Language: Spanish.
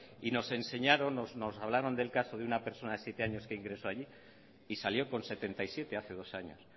y nos enseñaron nos hablaron del caso de una persona de siete años que ingresó allí y salió con setenta y siete hace dos años